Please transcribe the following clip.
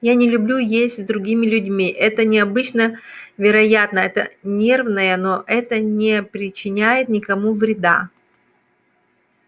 я не люблю есть с другими людьми это необычно вероятно это нервное но это не причиняет никому вреда